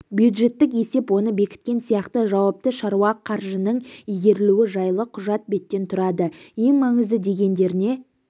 бюджеттік есеп оны бекіткен сияқты жауапты шаруа қаржының игерілуі жайлы құжат беттен тұрады ең маңызды дегендеріне